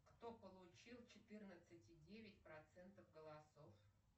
кто получил четырнадцать и девять процентов голосов